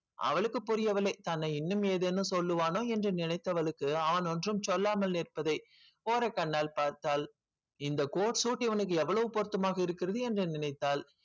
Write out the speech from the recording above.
அவளுக்கு புரியவில்லை தன்னை இன்னும் ஏதேனும் சொல்லுவானோ நினைத்திற்கு வேற ஏதெனும் சொல்லுவான ஓரக்கண்ணால் பார்த்தால் இந்த coat shoot இவனுக்கு எவ்வளவு பொருத்தமாக இருக்கிறது என்று நினைத்தால்